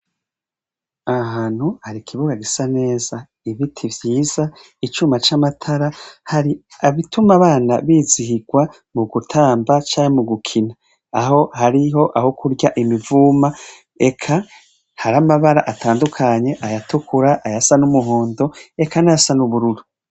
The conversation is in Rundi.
Ahantu hari kibuga gisa neza. Ibiti vyiza icuma c'amatara hari abituma abana bizihigwa mu gutamba canke mu gukina aho hariho aho kurya imivuma eka hari amabara atandukanye: ayatukura, ayasa n'umuhondo, eka nasa n’ubururu.